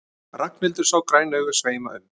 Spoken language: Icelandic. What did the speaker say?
Ragnhildur sá græn augun sveima um.